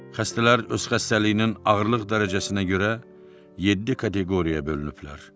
Xəstələr öz xəstəliyinin ağırlıq dərəcəsinə görə yeddi kateqoriyaya bölünüblər.